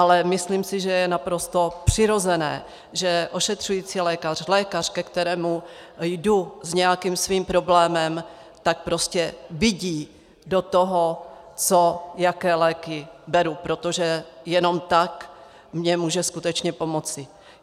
Ale myslím si, že je naprosto přirozené, že ošetřující lékař, lékař, ke kterému jdu s nějakým svým problémem, tak prostě vidí do toho, co, jaké léky beru, protože jenom tak mně může skutečně pomoci.